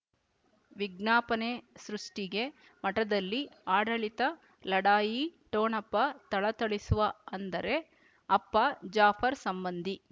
ವಿಜ್ಞಾಪನೆ ಸೃಷ್ಟಿಗೆ ಮಠದಲ್ಲಿ ಆಡಳಿತ ಲಢಾಯಿ ಠೊಣಪ ಥಳಥಳಿಸುವ ಅಂದರೆ ಅಪ್ಪ ಜಾಫರ್ ಸಂಬಂಧಿ